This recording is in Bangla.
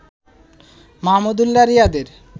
মাহমুদুল্লাহ রিয়াদের